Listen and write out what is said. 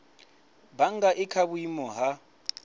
bannga i kha vhuimo ha